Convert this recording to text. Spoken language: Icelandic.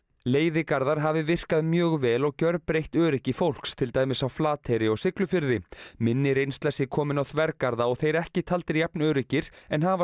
leiðigarðar hafi virkað mjög vel og gjörbreytt öryggi fólks til dæmis á Flateyri og Siglufirði minni reynsla sé komin á þvergarða og þeir ekki taldir jafn öruggir en hafa